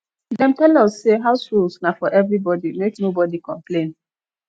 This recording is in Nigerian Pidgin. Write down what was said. dem tell us sey house rules na for everybodi make nobodi complain